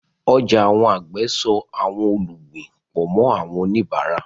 Ọjà àwọn àgbẹ̀ so àwọn olùgbìn pọ̀ mọ́ àwọn oníbàárà.